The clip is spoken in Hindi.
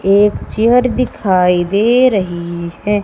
एक चेयर दिखाई दे रही है।